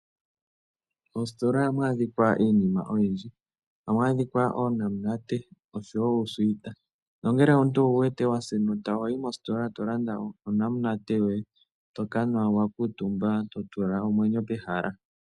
Moositola oha adhikwa iinima oyindji. Oha mu adhikwa oonamunate, uusuwita, nongele omuntu owu wete wa sa enota, oho yi mositola e to landa onamunate yoye, toka nwa wa kuutumba to tula omwenyo pehala.